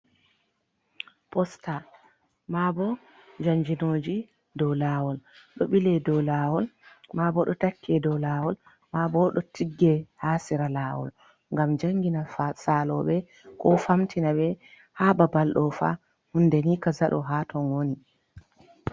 Posta maabo jannginooji dow laawol, ɗo ɓile dow laawol, maabo ɗo takke dow laawol, maabo ɗo tigge haa sera laawol, ngam janngina saaloɓe, ko famtina ɓe haa babal ɗoofa hunde ni kaza ɗo, haa ton woni.